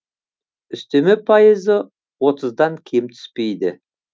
үстеме пайызы отыздан кем түспейді